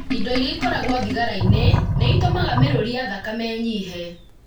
Indo iria ikoragwo thigara-inĩ nĩ itũmaga mĩrũri ya thakame ĩnyihe.